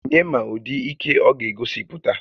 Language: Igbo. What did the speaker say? Onye ma ụdị ike ọ ga-egosipụta?